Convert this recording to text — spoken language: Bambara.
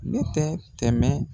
Ne tɛ tɛmɛ